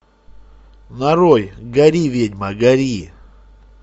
нарой гори ведьма гори